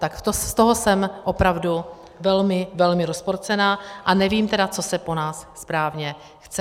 Tak z toho jsem opravdu velmi, velmi rozpolcená a nevím tedy, co se po nás správně chce.